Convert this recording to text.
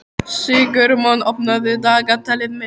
Sigurmon, opnaðu dagatalið mitt.